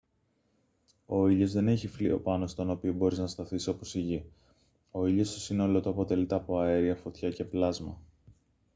ο ήλιος δεν έχει φλοιό πάνω στον οποίο μπορείς να σταθείς όπως η γη ο ήλιος στο σύνολό του αποτελείται από αέρια φωτιά και πλάσμα